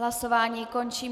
Hlasování končím.